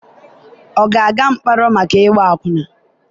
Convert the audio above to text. ọ ga-aga mkpọrọ maka ịgba akwụna?